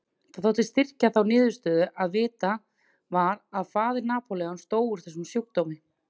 Það þótti styrkja þá niðurstöðu að vitað var að faðir Napóleons dó úr þessum sjúkdómi.